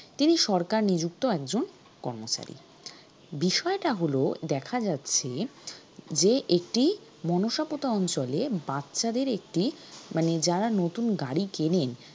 তিনি সরকার নিযুক্ত একজন কর্মচারী বিষয়টা হলো দেখা যাচ্ছে যে একটি মনসা পোতা অঞ্চলে বাচ্চাদের একটি মানে যারা নতুন গাড়ি কিনেন